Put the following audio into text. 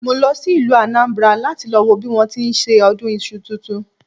Mo lọ sí ìlú Anambra láti lọ wo bí wọ́n ti ń ṣe ọdún iṣu tuntun